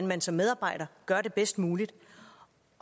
man som medarbejder gør det bedst muligt